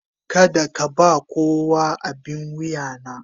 Kada ka ba kowa abin wuya na.